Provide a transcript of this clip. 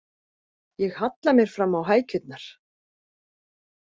Ég halla mér fram á hækjurnar.